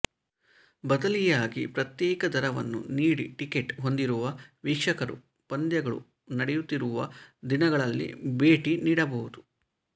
ಬದಲಿಯಾಗಿ ಪ್ರತ್ಯೇಕ ದರವನ್ನು ನೀಡಿ ಟಿಕೆಟ್ ಹೊಂದಿರುವ ವೀಕ್ಷಕರು ಪಂದ್ಯಗಳು ನಡೆಯುತ್ತಿರುವ ದಿನಗಳಲ್ಲಿ ಭೇಟಿ ನೀಡಬಹುದು